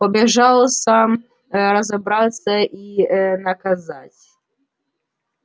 пообещал сам разобраться и наказать